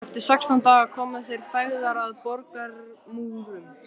Eftir sextán daga komu þeir feðgar að borgarmúrum